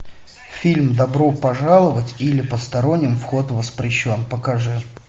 фильм добро пожаловать или посторонним вход воспрещен покажи